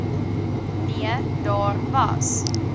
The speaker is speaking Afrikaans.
nee daar was